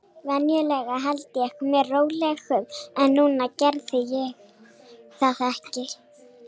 Venjulega held ég mér rólegum, en núna gerði ég það ekki.